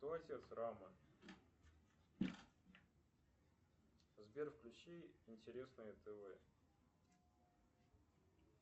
сбер включи интересное тв